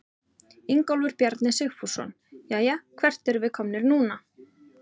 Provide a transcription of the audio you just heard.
Ingólfur Bjarni Sigfússon: Jæja, hvert erum við komnir núna?